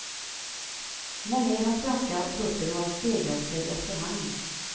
Många i den svenska truppen har stegrat sig efterhand.